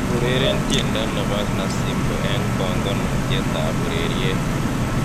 ureren tiendo nebo nasibu eng bongonutietab ureryet